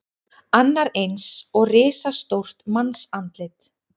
Annar eins og risastórt mannsandlit.